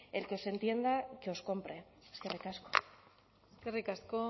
el que os entienda que os compre eskerrik asko eskerrik asko